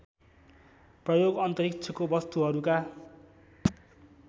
प्रयोग अन्तरिक्षको वस्तुहरूका